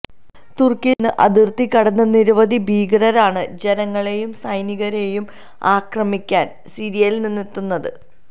തുര്ക്കിയില്നിന്ന് അതിര്ത്തി കടന്ന് നിരവധി ഭീകരരാണ് ജനങ്ങളെയും സൈനികരെയും ആക്രമിക്കാന് സിറിയയില് എത്തുന്നത്